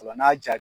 Ola n'a y'a ja